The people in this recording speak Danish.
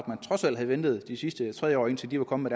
man trods alt havde ventet de sidste tre år til de var kommet